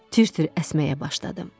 Tir-tir əsməyə başladım.